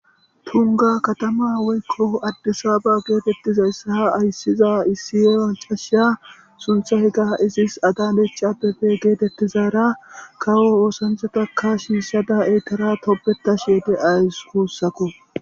Tungga kathamaa woykko addisaaba geetheththizayssa ayssiza issi maccasiya suththeykka izis adanecha abebe geetheththizaara kawo oosancchatakka shiishshada ethaara tobbethashe de7awus guussako.